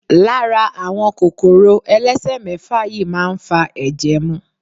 Lara àwọn kòkòrò elesemefa yìí máa ń fa ẹ̀jẹ̀ mu.